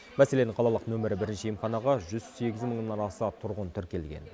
мәселен қалалық нөмірі бірінші емханаға жүз сегіз мыңнан аса тұрғын тіркелген